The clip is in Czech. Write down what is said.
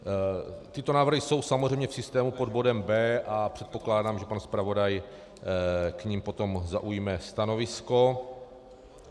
Tyto návrhy jsou samozřejmě v systému pod bodem B a předpokládám, že pan zpravodaj k nim potom zaujme stanovisko.